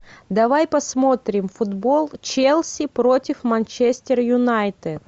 давай посмотрим футбол челси против манчестер юнайтед